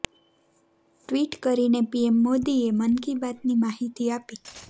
tweet કરીને PM મોદીએ મન કી બાતની માહિતી આપી